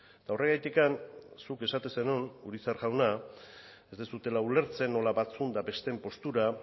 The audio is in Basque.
eta horregatik zuk esaten zenuen urizar jauna ez duzuela ulertzen nola batzuen eta besteen postura